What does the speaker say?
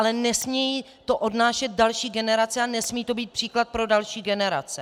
Ale nesmějí to odnášet další generace a nesmí to být příklad pro další generace.